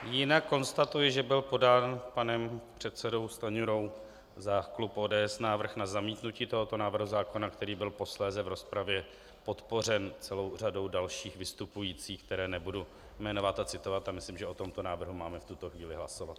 Jinak konstatuji, že byl podán panem předsedou Stanjurou za klub ODS návrh na zamítnutí tohoto návrhu zákona, který byl posléze v rozpravě podpořen celou řadou dalších vystupujících, které nebudu jmenovat a citovat, a myslím, že o tomto návrhu máme v tuto chvíli hlasovat.